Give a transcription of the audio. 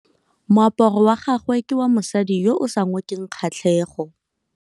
Moaparô wa gagwe ke wa mosadi yo o sa ngôkeng kgatlhegô.